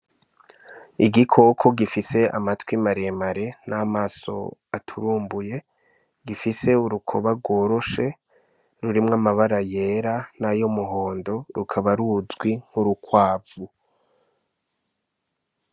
Igikoko gifise amatwi maremare n'amaso aturumbuye gifise urukoba rworoshe rurimwo amabara yera n'ayo muhondo rukaba rujwi nk'urukwavu.